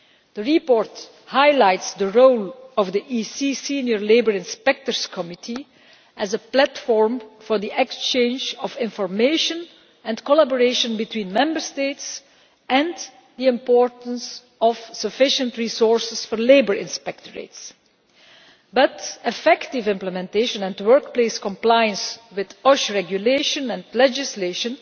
The report highlights the role of the EC Senior Labour Inspectors Committee as a platform for the exchange of information and collaboration between Member States and the importance of sufficient resources for labour inspectorates, but effective implementation and workplace compliance with OSH regulation and legislation